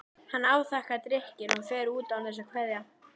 Hann afþakkar drykkinn og fer út án þess að kveðja.